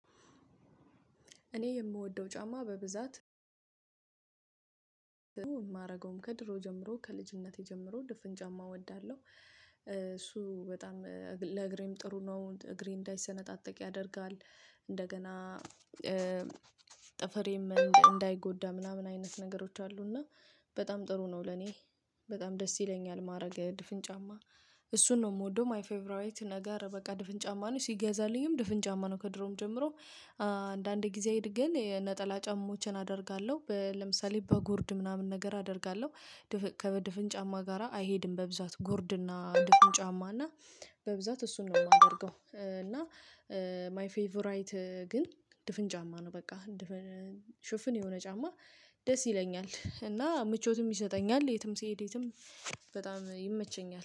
እኔ የምወደው ጫማ በብዛት ማረገውም ከድሮ ጀምሮ ከልጅነቴ ጀምሮ ድፍን ጫማ እወዳለሁ እሱ በጣም ለእግሬም ጥሩ ነው እግሬ እንዳይሰነጣጠቅ ያደርጋል። እንደገና ጥፍሬም እንዳይጎዳ ምናምን አይነት ነገሮች አሉ። እና በጣም ጥሩ ነው። ለኔ በጣም ደስ ይለኛል ማድረግ ድፍን ጫማ። እሱን ነው የምወደው ማይ ፌቨራይት ነገር በቃ ድፍን ጫማ ነው። ሲገዛልኝም ድፍን ጫማ ነው። ከድሮም ጀምሮ አንዳንዴ ጊዜ ግን ነጠላ ጫማዎችን አደርጋለሁ ለምሳሌ በጉርድ ምናምን ነገር አደርጋለሁ። ከድፍን ጫማ ጋራ አይሄድም በብዛት ጉርድና ድፍን ጫማና በብዛት እሱን ነው የማደርገው። እና ማይ ፌቨራይት ግን ድፍን ጫማ ነው። በቃ ሽፍን የሆነ ጫማ ደስ ይለኛል እና ምቾትም ይሰጠኛል የትም ሲሄድ የትም በጣም ይመቸኛል